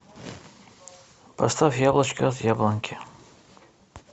поставь яблочко от яблоньки